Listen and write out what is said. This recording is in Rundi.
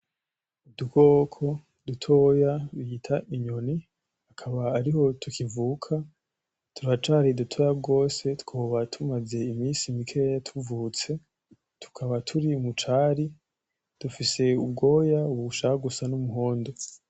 Udukoko dutoya bita inyoni ,akaba ariho tukivuka ,turacari dutoya gose twoba tumaze iminsi mikeya tuvutse tukaba ,turi mucari dufise ubwoba bishaka gusa n'umuhondo.